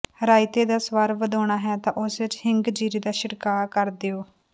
ਰਾਇਤੇ ਦਾ ਸਵਾਦ ਵਧਾਉਣਾ ਹੈ ਤਾਂ ਉਸ ਵਿਚ ਹਿੰਗ ਜੀਰੇ ਦਾ ਛਿੜਕਾਅ ਕਰ ਦਿਉ